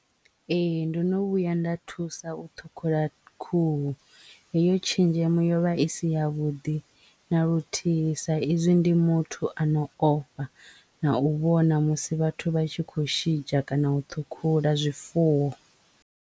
Ee ndo no vhuya nda thusa u thukhula khuhu heyo tshenzhemo yovha i si ya vhuḓi na luthihi sa izwi ndi muthu ano ofha na u vhona musi vhathu vha tshi kho mushidzha kana u ṱhukhula zwifuwo.